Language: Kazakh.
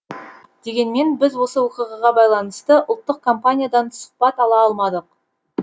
дегенмен біз осы оқиғаға байланысты ұлттық компаниядан сұхбат ала алмадық